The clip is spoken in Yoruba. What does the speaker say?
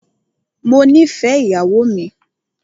Mó nìfẹ ìyàwó mi.